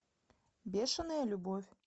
бешенная любовь